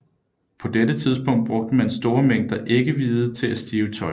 På dette tidspunkt brugt man store mængder æggevide til at stive tøj